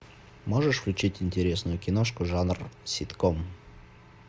можешь включить интересную киношку жанр ситком